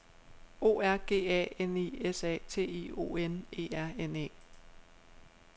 O R G A N I S A T I O N E R N E